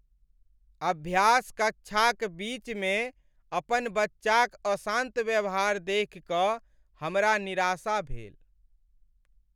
अभ्यास कक्षाक बीच में अपन बच्चाक अशान्त व्यवहार देखि कऽ हमरा निराशा भेल।